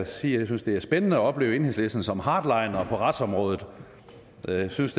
sige at jeg synes det er spændende at opleve enhedslisten som hardliner på retsområdet for jeg synes